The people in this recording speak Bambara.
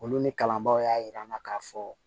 Olu ni kalanbaaw y'a yira an na k'a fɔ